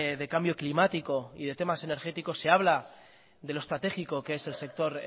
de cambio climático y de temas energéticos se habla de lo estratégico que es el sector